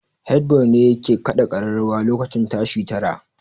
Head boy ne yake kaɗa kararrawan lokacin tashi tara